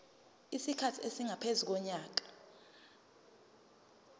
isikhathi esingaphezu konyaka